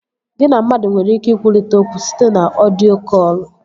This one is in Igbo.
Gị na mmadụ nwere ike ikwurịta okwu site na ọdio kọlụ